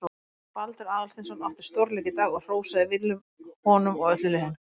Baldur Aðalsteinsson átti stórleik í dag og hrósaði Willum honum og öllu liðinu.